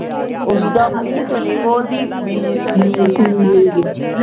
ਓਦਾਂ ਮੂੰਹ ਵਿਚੋਂ ਨੀ ਬੋਲਦੀ ਮੀਸਣੀ